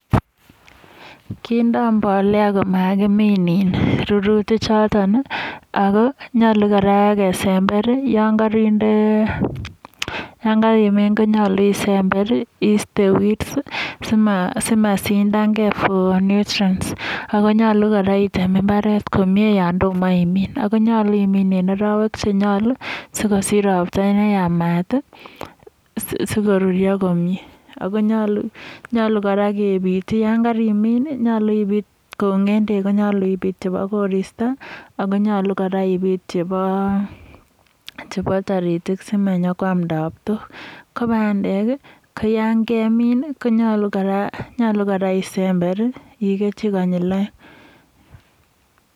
Kindoi mbolea komakimin in rururichotok, ako nyolu kora kerember yon karinde, rurutichotok. Yon karimin konyolu isember iiste weeds simasindange eng nutrients ako nyolu kora item imbaret komie yon toma imin. konyolu imin eng arawek che nyolu, sikosich ropta neyamat, sikoruryo komie. Ako nyolu kora kebitei yon karimin, nyolu kou ng'endek konyolu ibit chebo koristo ako nyolu kora ibit chebo toritik simanyo koam tabtok. Ko bandek ko yon kemin konyolu kora isemberinchi konyil oeng.